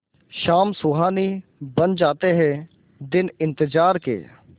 शाम सुहानी बन जाते हैं दिन इंतजार के